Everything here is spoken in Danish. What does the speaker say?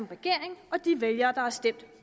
regeringen og de vælgere der har stemt